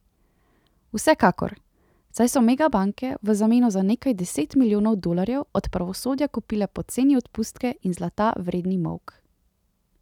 Vsekakor, saj so megabanke v zameno za nekaj deset milijonov dolarjev od pravosodja kupile poceni odpustke in zlata vredni molk.